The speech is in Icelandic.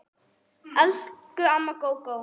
Elsku amma Gógó.